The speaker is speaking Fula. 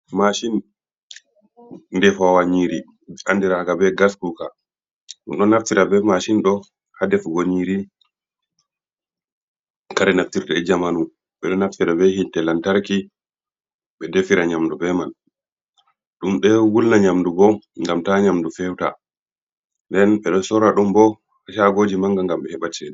Maashin de fawanyiri, e andiraga be gas kuka. Ɗum do naftira be maashin doo, hadefugo nyiri, kare naftirde ejamanu, ɓe do naffira be yiitee lantarki, ɓe defira nyamdu be man, ɗum ɗe wulna nyamdu bo gam ta nyamdu fewta nden beɗo sorra, ɗum bo shagoji manga ngam ɓe heɓa chede.